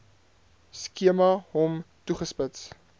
skema hom toegespits